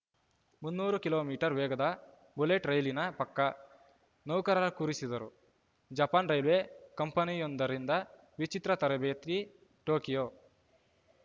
ಮುನ್ನೂರು kilometre ವೇಗದ bullet ರೈಲಿನ ಪಕ್ಕ ನೌಕರರ ಕೂರಿಸಿದರು ಜಪಾನ್‌ ರೈಲ್ವೆ ಕಂಪನಿಯೊಂದರಿಂದ ವಿಚಿತ್ರ ತರಬೇತಿ ಟೋಕಿಯೋ